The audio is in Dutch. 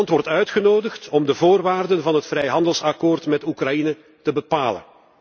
Rusland wordt uitgenodigd om de voorwaarden van het vrijhandelsakkoord met Oekraïne te bepalen.